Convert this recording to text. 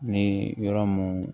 Ni yɔrɔ mun